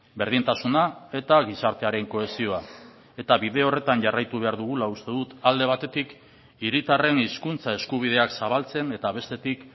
berdintasuna eta gizartearen kohesioa eta bide horretan jarraitu behar dugula uste dut alde batetik hiritarren hizkuntza eskubideak zabaltzen eta bestetik